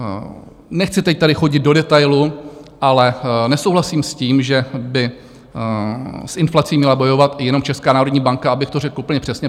Nechci teď tady chodit do detailu, ale nesouhlasím s tím, že by s inflací měla bojovat jenom Česká národní banka, abych to řekl úplně přesně.